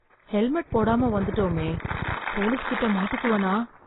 Helmet போடாம வந்துட்டமே, police கிட்ட மாட்டிக்குவனா?